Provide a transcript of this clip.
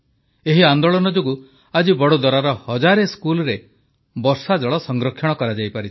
ଏହି ଆନେ୍ଦାଳନ ଯୋଗୁଁ ଆଜି ବଦୋଦରାର ହଜାରେ ସ୍କୁଲରେ ବର୍ଷାଜଳ ସଂରକ୍ଷଣ କରାଯାଇପାରିଛି